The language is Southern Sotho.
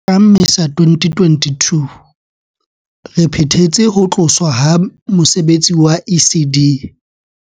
Ka Mmesa 2022, re phethetse ho tloswa ha mose betsi wa ECD.